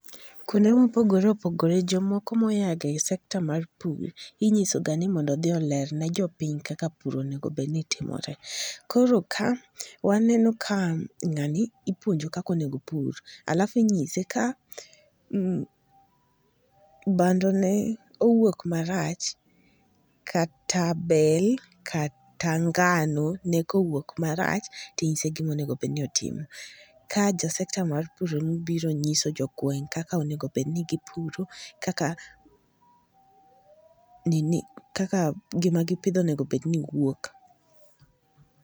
Kwonde mopogore opogore, jomoko moyaga e sector mar pur, inyiso ga ni mondo odhi olerne jopiny kaka pur onego bedni timore. Koro ka , waneno ka ng'ani ipuonjo kak onego opur, alafu inyise ka um bando ne owuok marach, kata bel, kata ngano, ne kowuok marach, ting'ise gima onego bedni otimo. Ka sector mar pur ema obiro nyiso jogweng' kaka onego bedni gipuro, kaka nini kaka giimagipidho onego bedni wuok